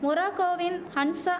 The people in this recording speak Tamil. மொராகோவின் ஹன்சா